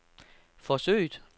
forsøget